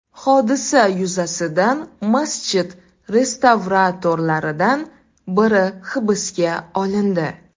Hodisa yuzasidan masjid restavratorlaridan biri hibsga olindi.